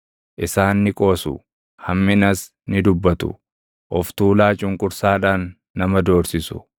Isaan ni qoosu; hamminas ni dubbatu; of tuulaa cunqursaadhaan nama doorsisu.